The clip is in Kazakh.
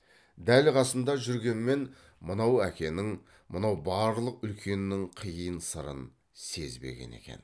дәл қасында жүргенмен мынау әкенің мынау барлық үлкеннің қиын сырын сезбеген екен